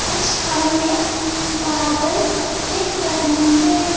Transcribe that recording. कुछ हमें बादल दिख रहे हैं।